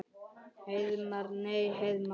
Heiðmar. nei Heiðmar?